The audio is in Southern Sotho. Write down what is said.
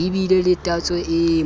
di be le tatso e